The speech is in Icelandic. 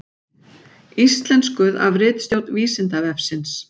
Íslenskuð af ritstjórn Vísindavefsins.